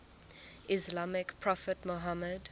islamic prophet muhammad